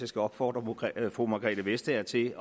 skal opfordre fru margrethe vestager til